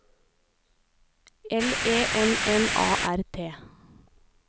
L E N N A R T